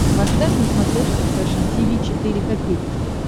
поставь на смотрешке фэшн ти ви четыре ка